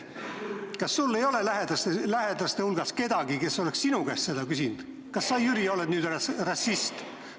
Kas sul ei ole lähedaste hulgas kedagi, kes on sinu käest küsinud: "Kas sa, Jüri, oled nüüd rassist?"?